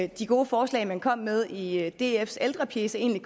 de gode forslag man kom med i dfs ældrepjece egentlig